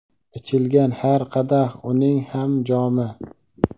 Ichilgan har qadah uning ham jomi.